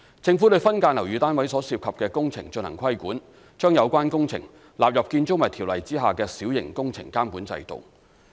政府對分間樓宇單位所涉及的工程進行規管，把有關工程納入《條例》下的小型工程監管制度。